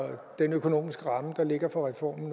den økonomiske ramme der ligger for reformen